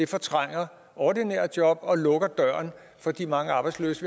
fortrænger ordinære job og lukker døren for de mange arbejdsløse